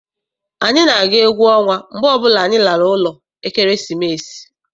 Anyị na-aga egwu ọnwa mgbe ọbụla anyị lara ụlọ ekeresimesi.